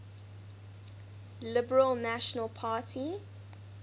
liberal national party